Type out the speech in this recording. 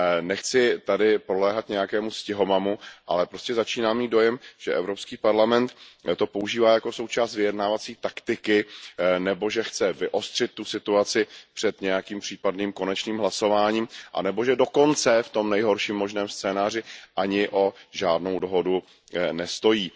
Nechci podléhat nějakému stihomamu, ale začínám mít dojem, že Evropský parlament to používá jako součást vyjednávací taktiky nebo že chce vyostřit tu situaci před nějakým případným konečným hlasováním anebo že dokonce, v tom nejhorším možném scénáři, ani o žádnou dohodu nestojí.